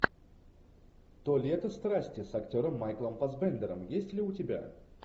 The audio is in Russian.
то лето страсти с актером майклом фассбендером есть ли у тебя